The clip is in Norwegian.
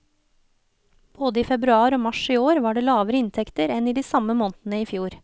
Både i februar og mars i år var det lavere inntekter enn i samme måneder i fjor.